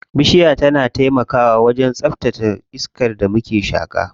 Bishiya tana taimakawa wajen tsaftace iskar da muke shaƙa.